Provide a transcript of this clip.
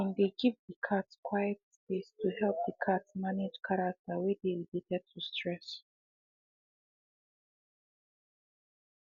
they been dey give the cat quiet space to help the cat manage character wey dey related to stress